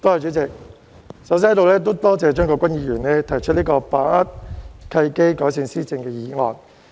主席，我首先感謝張國鈞議員提出題為"把握契機，改善施政"的議案。